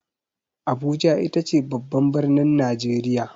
Abuja ita ce babban birnin Najeriya.